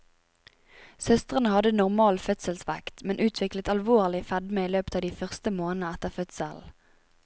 Søstrene hadde normal fødselsvekt, men utviklet alvorlig fedme i løpet av de første månedene etter fødselen.